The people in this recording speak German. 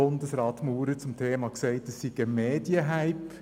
Bundesrat Ueli Maurer sagte damals, es sei ein Medien-Hype.